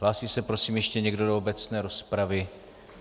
Hlásí se prosím ještě někdo do obecné rozpravy?